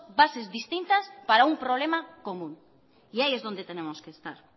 bases distintas para un problema común y ahí es donde tenemos que estar